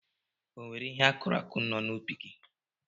E nwere ihe akụrụ akụ no n'ubi gị.